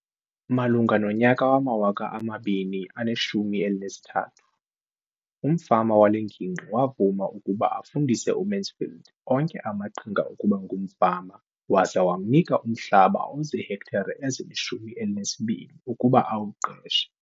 Malunga nonyaka wama-2013, umfama wale ngingqi wavuma ukuba afundise uMansfield onke amaqhinga okuba ngumfama waza wamnika umhlaba ozihektare ezili-12 ukuba awuqeshe.